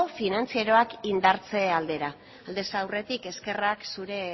finantzarioak indartze aldera aldez aurretik eskerrak